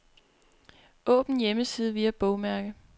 Åbn hjemmeside via bogmærke.